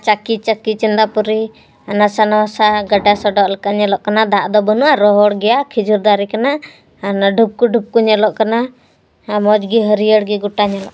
ᱪᱟᱠᱤ ᱪᱟᱠᱤ ᱪᱚᱺᱫᱟ ᱯᱩᱨᱤ ᱞᱮᱠᱟ ᱦᱚᱱᱟᱥᱟ ᱥᱟᱱᱟᱭᱟ ᱜᱚᱰᱟ ᱯᱭᱨᱤ ᱞᱤᱠᱟ ᱧᱮᱞᱚᱜ ᱠᱟᱱᱟ ᱫᱟᱜ ᱰᱚ ᱵᱟᱱᱩᱜ-ᱟ ᱨᱦᱚᱲ ᱜᱮᱭᱟ ᱠᱷᱤᱡᱩᱨ ᱫᱟᱨᱮ ᱠᱟᱱᱟ ᱦᱟᱱᱟ ᱰᱷᱯᱠᱩ ᱰᱷᱯᱠᱩ ᱧᱮᱞᱚᱜ ᱠᱟᱱᱟ ᱠᱚᱡ ᱜᱤ ᱦᱟᱹᱨᱭᱟᱹᱲ ᱜᱤ ᱧᱮᱞᱚᱜ ᱠᱟᱱᱟ᱾